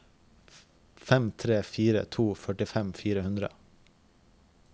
fem tre fire to førtifem fire hundre